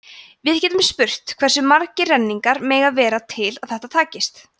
við getum spurt hversu margir renningarnir mega vera til að þetta takist